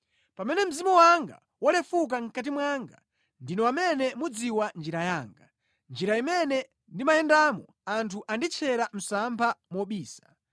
Pamene mzimu wanga walefuka mʼkati mwanga, ndinu amene mudziwa njira yanga. Mʼnjira imene ndimayendamo anthu anditchera msampha mobisa.